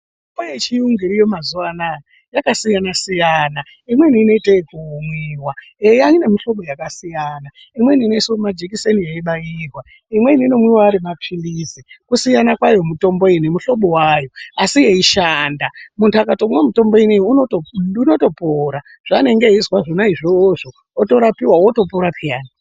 Mitombo yechiyungu iriyo mazuwanaya yakasiyana siyana imweni inoite ekumwiwa, eya ine mihlobo yakasiyana imweni inoiswa mumajekiseni yeibaiwa, imweni inomwiwa arimaphilizi kusiyana kwayo mitombo iyi nemihlobo yayo asi yeishanda muntu akatomwa mutombo ineyi unotopora zvaanenge eizwa zvona izvozvo otorapiwa otopora peyani.